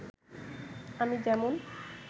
আমি যেমন